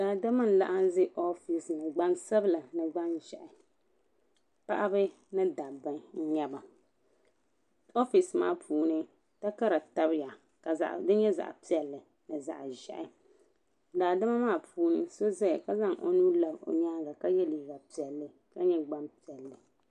Daadam laɣim zaya ɔfesi ŋɔ gban sabila ni gban zɛhi paɣiba ni dabba nyɛ ba ɔfesi maa puuni takara tabi ya ka di yɛ zaɣi piɛlli ni zaɣi zɛhi daadam maa puuni so zaya ka zan o nuu labi o yɛanga ka yiɛ liiga piɛlli ka yɛ gban piɛlli.